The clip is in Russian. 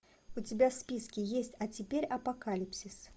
у тебя в списке есть а теперь апокалипсис